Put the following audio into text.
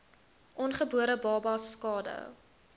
ongebore babas skade